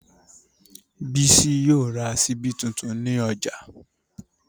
Bísí yóò ra ṣíbí tuntun ní ọjà